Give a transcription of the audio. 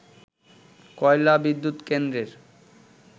কয়লা বিদ্যুৎ কেন্দ্রের